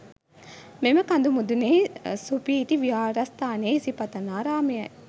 මෙම කඳු මුදුනෙහි සුපිහිටි විහාරස්ථානය ඉසිපතනාරාමයයි.